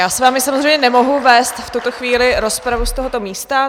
Já s vámi samozřejmě nemohu vést v tuto chvíli rozpravu z tohoto místa.